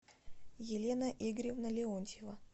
елена игоревна леонтьева